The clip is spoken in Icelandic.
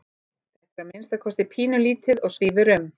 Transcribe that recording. Þetta er að minnsta kosti pínulítið og svífur um.